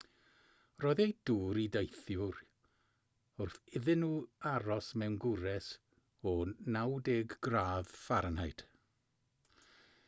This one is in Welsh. rhoddwyd dŵr i deithwyr wrth iddyn nhw aros mewn gwres o 90 gradd f